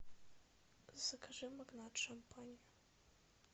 закажи магнат шампань